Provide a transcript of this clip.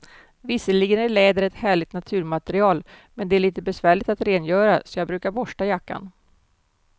Visserligen är läder ett härligt naturmaterial, men det är lite besvärligt att rengöra, så jag brukar borsta jackan.